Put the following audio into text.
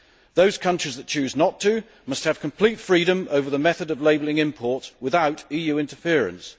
Those countries which choose not to must have complete freedom over the method of labelling imports, without EU interference.